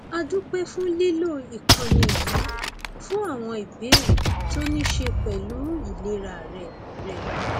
a dúpẹ fún lílo ìkànnì yìí fún àwọn ìbéèrè tó ní í ṣe pẹlú ìlera rẹ rẹ